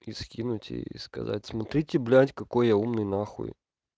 и скину тебе сказать смотрите блядь какой я умный на хуй